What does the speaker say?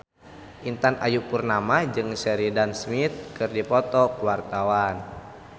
Intan Ayu Purnama jeung Sheridan Smith keur dipoto ku wartawan